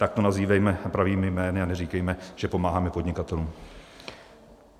Tak to nazývejme pravými jmény a neříkejme, že pomáháme podnikatelům.